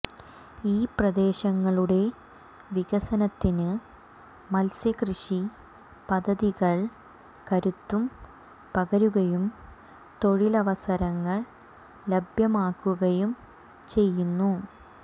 ഈ പ്രദേശങ്ങളുടെ വികസനത്തിന് മത്സ്യ കൃഷി പദ്ധതികൾ കരുത്തു പകരുകയും തൊഴിലവസരങ്ങൾ ലഭ്യമാക്കുകയും ചെയ്യുന്നു